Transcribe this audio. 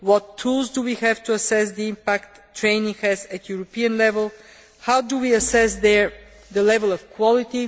What tools do we have to assess the impact training has at European level? How do we assess the level of quality?